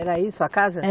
Era isso a casa? É